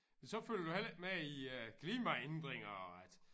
Men så følger du heller ikke med i øh klimaændringer og at